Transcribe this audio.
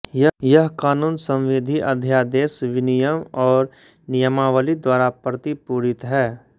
यह कानून संविधि अध्यादेश विनियम और नियमावली द्वारा प्रतिपूरित है